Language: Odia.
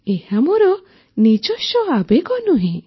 ଏହା ମୋର ନିଜସ୍ୱ ଆବେଗ ନୁହେଁ